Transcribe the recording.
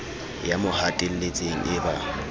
ya mo hatelletseng e ba